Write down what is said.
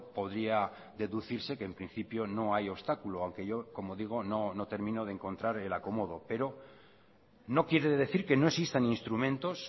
podía deducirse que en principio no hay obstáculo aunque yo como digo no termino de encontrar el acomodo pero no quiere decir que no existan instrumentos